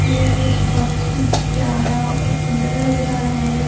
यह भी बहुत ही प्यारा और बहुत ही सुंदर लग रहा है।